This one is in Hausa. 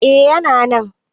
eh yana nan